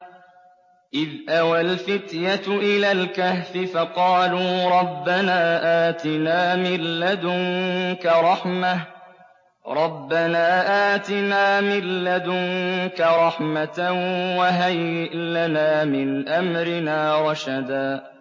إِذْ أَوَى الْفِتْيَةُ إِلَى الْكَهْفِ فَقَالُوا رَبَّنَا آتِنَا مِن لَّدُنكَ رَحْمَةً وَهَيِّئْ لَنَا مِنْ أَمْرِنَا رَشَدًا